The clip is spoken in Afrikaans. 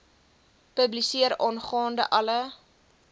publiseer aangaande alle